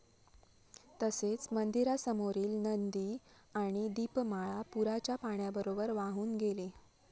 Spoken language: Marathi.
तसेच मंदिरासमोरील नंदी आणि दीपमाळ पूराच्या पाण्याबरोबर वाहून गेले.